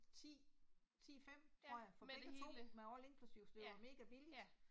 10, 10 5 tror jeg for begge 2 med all inklusiv, så det var mega billigt